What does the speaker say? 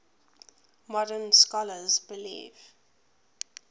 modern scholars believe